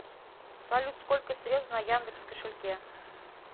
салют сколько средств на яндекс кошельке